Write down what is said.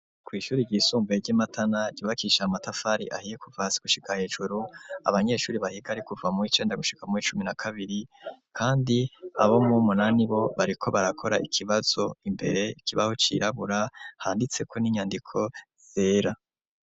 Kw'ishuri ryisumbuye ryi Matana, ryubakishije amatafari ahiye kuva hasi gushika hejuru, abanyeshuri bahiga ari kuva muw'icenda gushika muw'icumi na kabiri, kandi abo muw'munani bo bariko barakora ikibazo, imbere kibaho cirabura, handitseko n'inyandiko zera.